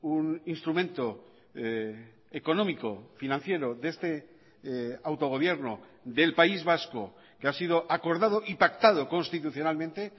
un instrumento económico financiero de este autogobierno del país vasco que ha sido acordado y pactado constitucionalmente